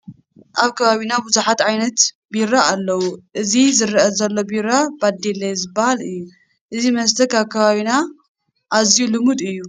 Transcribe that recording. ኣብ ከባቢና ብዙሓት ዓይነት ቢራ ኣለዉ፡፡ እዚ ይርአ ዘሎ ቢራ በደሌ ዝበሃል እዩ፡፡ እዚ መስተ ኣብ ከባብና ኣዝዩ ልሙድ እዩ፡፡